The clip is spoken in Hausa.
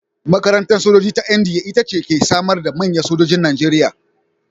Makarantar sojoji ta NDA ita ce ta ke samar da manyan sojojin Najeriya.